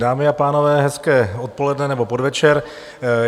Dámy a pánové, hezké odpoledne nebo podvečer.